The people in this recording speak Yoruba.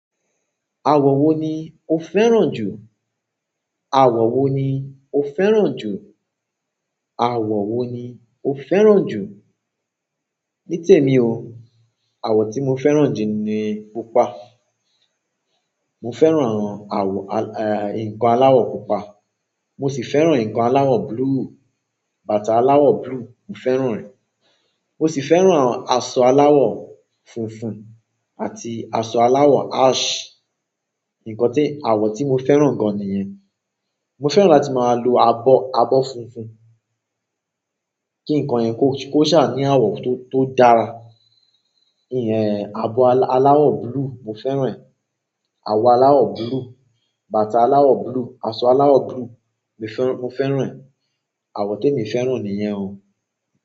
Àwọ̀ wo ni o fẹ́ràn jù? Àwọ̀ wo ni o fẹ́ràn jù? Àwọ̀ wo ni o fẹ́ràn jù? Nítèmi o. Àwọ̀ tí mo fẹ́ràn jù ni pupa. Mo fẹ́ràn àwọn àwọ̀ ǹkan aláwọ̀ pupa. Mo sì fẹ́ràn ǹkan aláwọ̀ blue. Bàtà aláwọ̀ blue, mo fẹ́ràn rẹ̀. Mo sì fẹ́ràn aṣọ aláwọ̀ funfun àti aṣọ aláwọ̀ ash. Ǹkan tí, àwọ̀ tí mo fẹ́ràn gan ni yẹn. Mo fẹ́ràn láti máa lo abọ́, abọ́ funfun. Kí ǹkan yẹn kó, kó ṣà ní àwọ̀ tó dára. Ìyẹn, abọ aláwọ̀ blue, mo fẹ́ràn rẹ̀. Abọ aláwọ̀ blue, bàtà aláwọ̀ blue, aṣọ aláwọ̀ blue, mi fẹ́ràn, mo fẹ́ràn rẹ̀. Àwọn temi fẹ́ràn nìyẹn o.